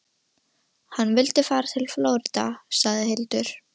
Hann vildi fara til Flórída, sagði Hildur.